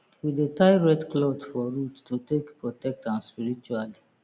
we dey tie red cloth for root to take protect am spiritually